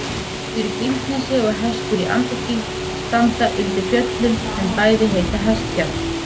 Hestur í Grímsnesi og Hestur í Andakíl standa undir fjöllum sem bæði heita Hestfjall.